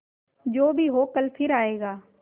जो भी हो कल फिर आएगा